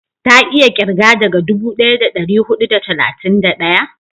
ta iya kirga daga dubu daya da dari hudu da talatin da daya?